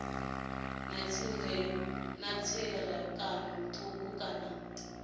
na tserakano thukhu kana ha